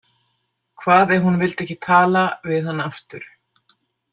Hvað ef hún vildi ekki tala við hann aftur?